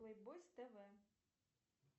плейбойс тв